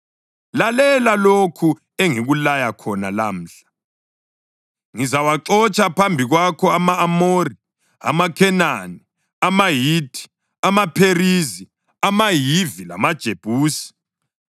Lalela lokhu engikulaya khona lamhla. Ngizawaxotsha phambi kwakho ama-Amori, amaKhenani, amaHithi, amaPherizi, amaHivi lamaJebusi.